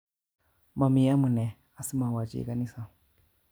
Mami amune asimawo chi kanisa.